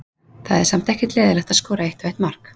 Það er samt ekkert leiðinlegt að skora eitt og eitt mark.